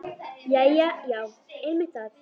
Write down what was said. Jæja já, einmitt það.